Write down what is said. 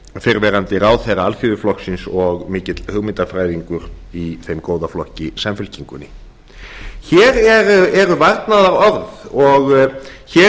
fyrrverandi ráðherra alþýðuflokksins og mikill hugmyndafræðingur í þeim góða flokki samfylkingunni hér eru varnaðarorð og hér